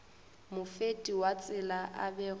mofeti wa tsela a bego